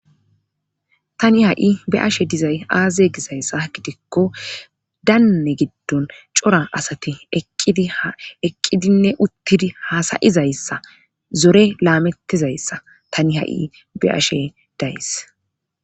Tani ha7i be ashe dizay aaze gizayssa gidikko daanne giddon cora asati eqqidi eqqidinne uttidi haasayizayssa zore laamettizayssa tani ha7i be'ashe days.